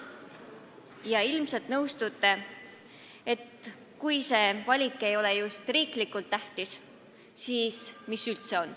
Ja ilmselt te nõustute, et kui see valik ei ole riiklikult tähtis, siis mis üldse on.